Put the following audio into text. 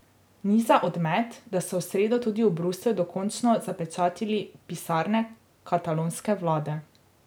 Ni za odmet, da so v sredo tudi v Bruslju dokončno zapečatili pisarne katalonske vlade.